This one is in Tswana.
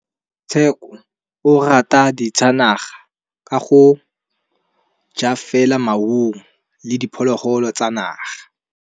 Tshekô o rata ditsanaga ka gore o ja fela maungo le diphologolo tsa naga.